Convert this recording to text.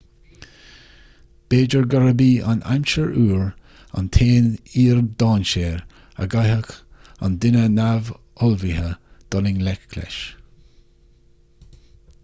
b'fhéidir gurb í an aimsir fhuar an t-aon fhíor-dainséar a gcaithfeadh an duine neamhullmhaithe dul i ngleic leis